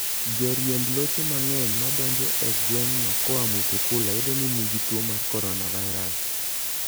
Joriemb loche mang'eny ma donjo e gweng'no koa Mutukula yudo ni nigi tuo mar coronavirus.